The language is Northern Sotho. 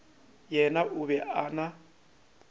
yena o be a na